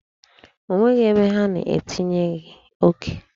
O nweghị ebe ha na-etinyeghi oke.